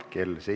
Head päeva!